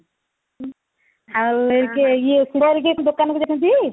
ଆଉ ଇଏ କିଏ ଶୁଭ ହେରିକା ଦୋକାନ କୁ ଯାଇଛନ୍ତି